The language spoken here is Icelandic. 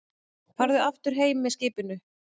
Farðu aftur heim með skipinu!